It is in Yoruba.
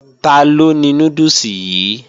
Taló ni núdùsì yìí?